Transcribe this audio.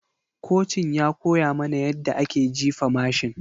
Kocin ya koya mana yadda ake jifa mashin.